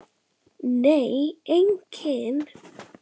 Nei, enginn